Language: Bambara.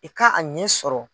I ka a ɲɛ sɔrɔ.